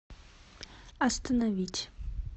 остановить